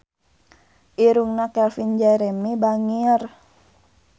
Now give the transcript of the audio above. Irungna Calvin Jeremy bangir